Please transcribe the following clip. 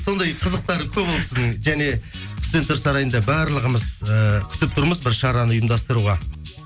сондай қызықтары көп ол кісінің және студенттер сарайында барлығымыз ііі күтіп тұрмыз бір шараны ұйымдастыруға